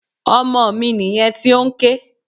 Ọmọ mi nìyẹn tí ó ń ké.